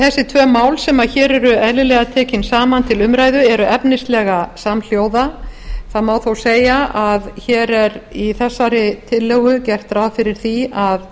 þessi tvö mál sem hér eru eðlilega tekin saman til umræðu eru efnislega samhljóða það má þó segja að hér er í þessari tillögu gert ráð fyrir því að